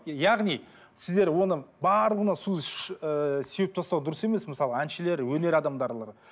яғни сіздер оны барлығына су ыыы сеуіп тастау дұрыс емес мысалға әншілер өнер адамдарына